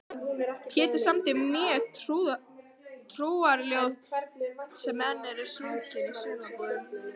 Pétur samdi mörg trúarljóð sem enn eru sungin í sumarbúðunum.